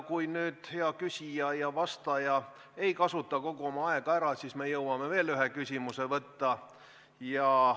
Kui nüüd hea küsija ja vastaja ei kasuta kogu oma aega ära, siis me jõuame veel ühe küsimuse võtta.